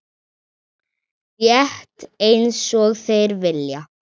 Rétt einsog þeir vilja.